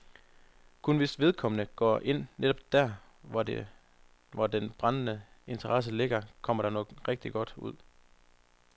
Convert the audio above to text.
Kun hvis vedkommende går ind netop der, hvor den brændende interesse ligger, kommer der noget rigtig godt ud.